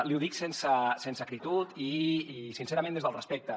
li ho dic sense acritud i sincerament des del respecte